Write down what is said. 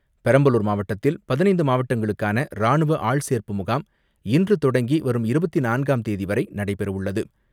பெரம்பலூர் மாவட்டத்தில் பதினைந்து மாவட்டங்களுக்கான ராணுவ ஆள் சேர்ப்பு முகாம் இன்று தொடங்கி வரும் இருபத்து நான்காம் தேதி வரை நடைபெறவுள்ளது.